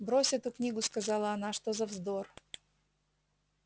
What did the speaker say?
брось эту книгу сказала она что за вздор